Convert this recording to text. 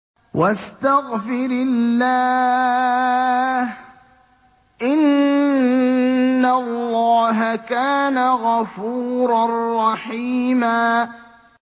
وَاسْتَغْفِرِ اللَّهَ ۖ إِنَّ اللَّهَ كَانَ غَفُورًا رَّحِيمًا